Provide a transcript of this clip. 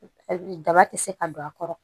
Daba ti se ka don a kɔrɔ